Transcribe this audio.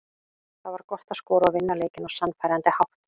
Það var gott að skora og vinna leikinn á sannfærandi hátt.